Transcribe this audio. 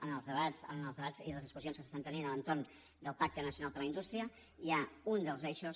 en els debats i en les discussions que s’estan tenint a l’entorn del pacte nacional per a la indústria hi ha un dels eixos